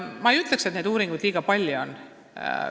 Ma ei ütleks, et neid liiga palju on.